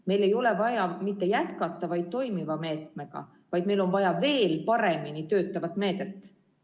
Meil ei ole vaja jätkata mitte üksnes toimivat meedet, vaid meil on vaja veel paremini töötavat meedet.